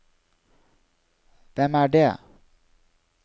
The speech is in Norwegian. hvem er det